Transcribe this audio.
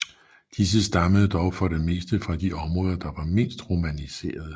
Disse stammede dog for det meste fra de områder der var mindst romaniserede